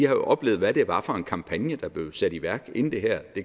oplevet hvad det var for en kampagne der blev sat i værk inden det her